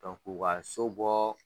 Dɔn k'u ka so bɔɔ